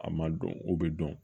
A ma dɔn o bɛ dɔn